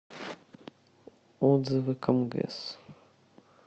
отзывы камгэс